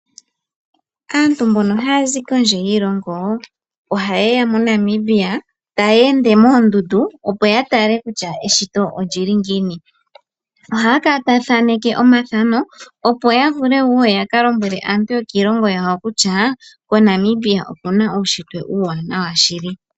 Aantu mbono haya zi kondje yiilongo, ohaye ya MoNamibia, tayeende moondundu opo ya tale kutya eshito olyili ngiini. Ohaya kala taya thaaneke omathano opo ya vule wo yaka lombwele aantu yokiilongo yawo kutya moNamibia omu na uunshitwe uuwanawa shili.